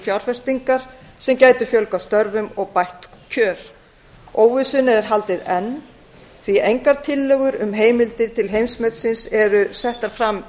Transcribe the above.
fjárfestingar sem gætu fjölgað störfum og bætt kjör óvissunni er haldið enn því ekki er minnst á heimsmetið í fjárlagafrumvarpinu og engar tillögur um heimildir í þá veru settar fram